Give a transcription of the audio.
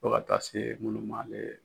Fo ka taa se minnu ma le.